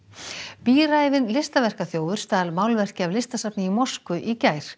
bíræfinn stal málverki af listasafni í Moskvu í gær